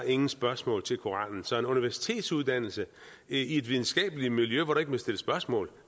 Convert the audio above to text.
ingen spørgsmål til koranen så en universitetsuddannelse i et videnskabeligt miljø hvor der ikke må stilles spørgsmål